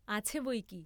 আছে বই কি!